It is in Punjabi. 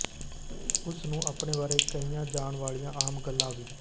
ਉਸ ਨੂੰ ਅਪਣੇ ਬਾਰੇ ਕਹੀਆਂ ਜਾਣ ਵਾਲੀਆਂ ਆਮ ਗੱਲਾਂ ਵੀ